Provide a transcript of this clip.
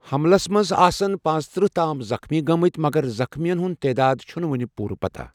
حملَس منٛز آسَن پانژترٕہ تام زخمی گٔمٕتہِ ، مگر زخمیَن ہٕنٛز تعداد چھَنہٕ وٕنہِ پوٗرٕ پتہ۔